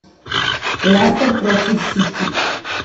лестер против сити